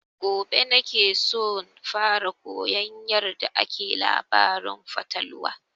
Gobe na ke son fara koyan yarda ake labarin fatalwa